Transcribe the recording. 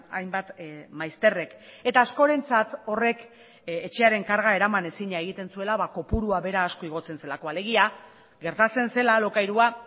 hainbat maizterrek eta askorentzat horrek etxearen karga eramanezina egiten zuela kopurua bera asko igotzen zelako alegia gertatzen zela alokairua